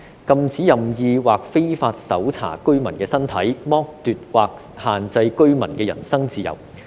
禁止任意或非法搜查居民的身體、剝奪或限制居民的人身自由。